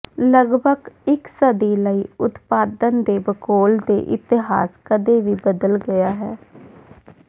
ਲਗਭਗ ਇਕ ਸਦੀ ਲਈ ਉਤਪਾਦਨ ਦੇ ਭੂਗੋਲ ਦੇ ਇਤਿਹਾਸ ਕਦੇ ਵੀ ਬਦਲ ਗਿਆ ਹੈ